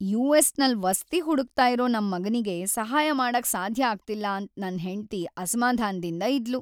US ನಲ್ ವಸ್ತಿ ಹುಡುಕ್ತಾ ಇರೋ ನಮ್ ಮಗನಿಗೆ ಸಹಾಯ ಮಾಡಕ್ ಸಾಧ್ಯ ಆಗ್ತಿಲ್ಲ ಅಂತ್ ನನ್ ಹೆಂಡ್ತಿ ಅಸಮಾಧಾನದಿಂದ್ ಇದ್ಲು.